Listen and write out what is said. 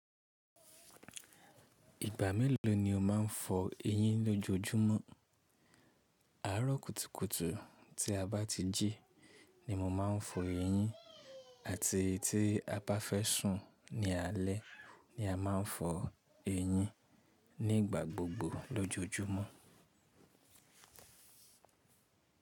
Ìgbà mélòó ni o máa ń fọ eyín lójojúmọ́? Àárọ̀ kùtùkùtù tí a bá ti jí ni mo máa ń fọ eyín ati ti a bá fẹ́ sùn ní alẹ́ ni a máa ń fọ eyín nígbà gbogbo lójojúmọ́.